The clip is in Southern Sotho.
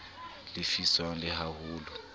lefiswang le ha ho le